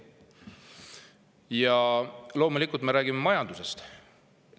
Ja räägime ka majandusest.